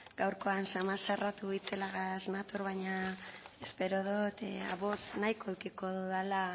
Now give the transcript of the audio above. gaurkoan xamar zarratu itzelagaz nator baina espero dut ahots nahikoa edukiko dudala